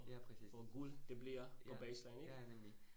Ja præcis. Ja, ja ja nemlig